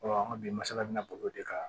an ka bi masala bɛna boli o de kan